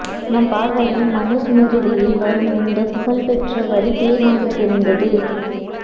நம் பார்வையை மனுஸ்மிருதியில் வரும் இந்த புகழ்பெற்ற வரி தீர்மானித்திருந்தது